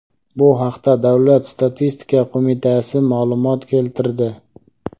Bu haqda Davlat statistika qo‘mitasi ma’lumot keltirdi.